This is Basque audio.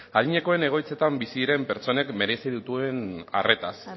adinekoen egoitzetan bizi diren pertsonek merezi duten arretaz